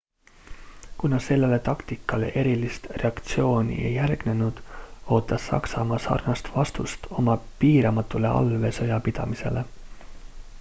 kuna sellele taktikale erilist reaktsiooni ei järgnenud ootas saksamaa sarnast vastust oma piiramatule allveesõjapidamisele